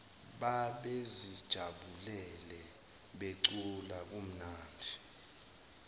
babezijabulele becula kumnandi